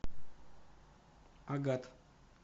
агат